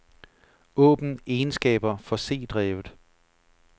Åbn egenskaber for c-drevet.